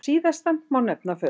Síðastan má nefna föður